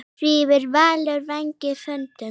Svífur Valur vængjum þöndum?